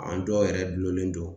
An dɔw yɛrɛ dulonnen don